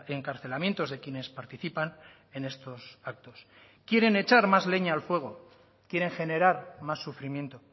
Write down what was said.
encarcelamientos de quienes participan en estos actos quieren echar más leña al fuego quieren generar más sufrimiento